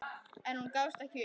En hún gafst ekki upp.